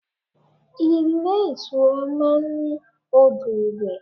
Ilé ìtura máa ń ní odò ìwẹ̀.